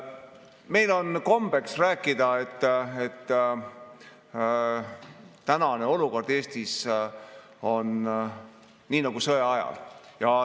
Meil on kombeks rääkida, et tänane olukord Eestis on nii nagu sõjaajal.